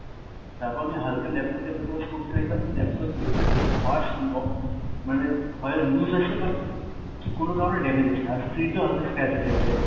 তারপর আমি হালকা laptop laptop এর ভেতরে কিছু parts ন মানে হয় loose আছে কোনো কারণে damage আছে, আর screen টাও হালকা scratch আছে এক জায়গায়।